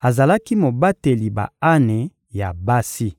azalaki mobateli ba-ane ya basi.